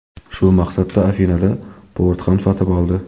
Shu maqsadda Afinada port ham sotib oldi.